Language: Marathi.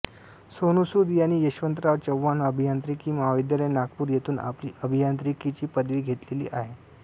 सोनू सूद यांनी यशवंतराव चव्हाण अभियांत्रिकी महाविद्यालय नागपूर येथून आपली अभियांत्रिकी ची पदवी घेतलेली आहे